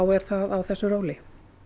er það á þessu róli